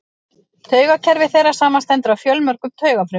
Taugakerfi þeirra samanstendur af fjölmörgum taugafrumum.